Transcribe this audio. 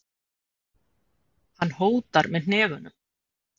Hann hótar með hnefunum.